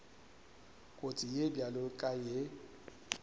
kotsi ye bjalo ka ye